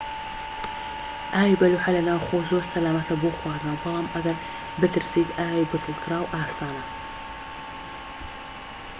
ئاوی بەلوعە لە ناوخۆ زۆر سەلامەتە بۆ خواردنەوە بەڵام ئەگەر بترسیت ئاوی بتڵکراو ئاسانە